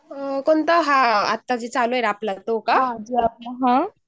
आत्ताच जो चॅनल तो का?